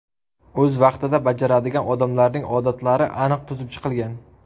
O‘z vaqtida bajaradigan odamlarning odatlari aniq tuzib chiqilgan.